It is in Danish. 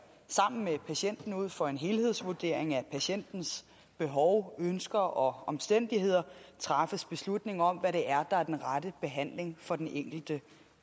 sammen med patienten ud fra en helhedsvurdering af patientens behov ønsker og omstændigheder træffes beslutning om hvad det er der er den rette behandling for den enkelte